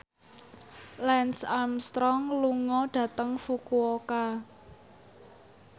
Lance Armstrong lunga dhateng Fukuoka